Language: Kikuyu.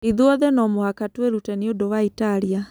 'Ithuothe no mũhaka twĩrute nĩ ũndũ wa Italia.